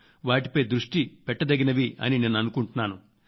వాటిపై దృష్టి పెట్టదగినవి నేను అనుకుంటున్నాను